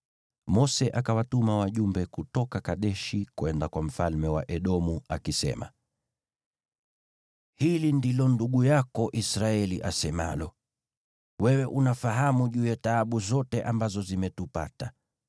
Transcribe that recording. Mose akawatuma wajumbe kutoka Kadeshi kwenda kwa mfalme wa Edomu, akisema: “Hili ndilo ndugu yako Israeli asemalo: Wewe unafahamu juu ya taabu zote ambazo zimetupata.